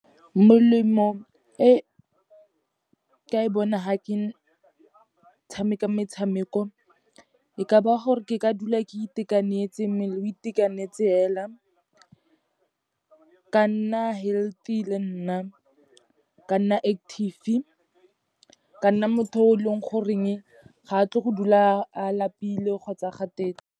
Molemo e ka e bona ha ke tshameka metshameko, e ka ba gore ke ka dula ke itekanetse, mmele o itekanetse fela, ka nna healthy le nna, ka nna active, ka nna motho o e leng goreng ga a tle go dula a lapile kgotsa a kgathetse.